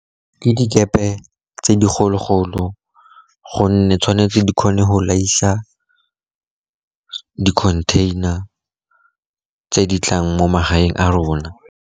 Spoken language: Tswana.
Ke dikepe tse dikgolo-kgolo, gonne tshwanetse di kgone go laiša dikhontheina tse di tlang mo magaeng a rona.